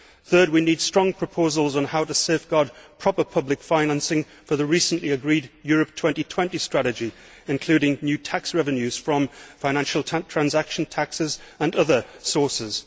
Third, we need strong proposals on how to safeguard proper public financing for the recently agreed Europe 2020 strategy, including new tax revenues from financial transaction taxes and other sources.